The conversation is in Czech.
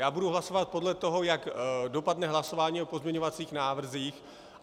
Já budu hlasovat podle toho, jak dopadne hlasování o pozměňovacích návrzích.